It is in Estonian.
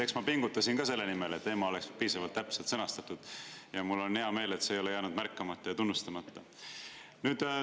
Eks ma pingutasin ka selle nimel, et teema oleks piisavalt täpselt sõnastatud, ja mul on hea meel, et see ei ole jäänud märkamata ja tunnustamata.